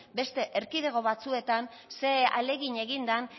beste erkidego batzuetan ze ahalegin egin den